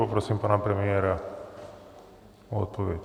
Poprosím pana premiéra o odpověď.